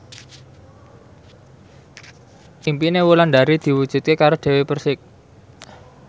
impine Wulandari diwujudke karo Dewi Persik